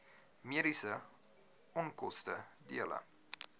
mediese onkoste dele